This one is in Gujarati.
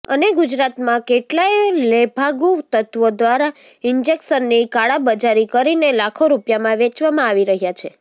અને ગુજરાતમાં કેટલાય લેભાગુ તત્વો દ્વારા ઈન્જેકશની કાળાબજારી કરીને લાખો રૂપિયામાં વેચવામાં આવી રહ્યા છે